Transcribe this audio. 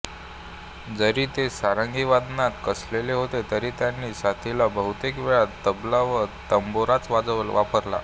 जरी ते सारंगी वादनात कसलेले होते तरी त्यांनी साथीला बहुतेक वेळा तबला व तंबोराच वापरला